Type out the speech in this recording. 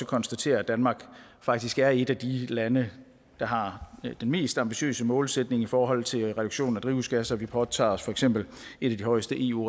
konstatere at danmark faktisk er et af de lande der har den mest ambitiøse målsætning i forhold til reduktion af drivhusgasser vi påtager os for eksempel et af de højeste eu